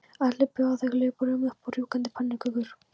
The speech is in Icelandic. Öll bjóða þau hlaupurum upp á rjúkandi pönnukökur.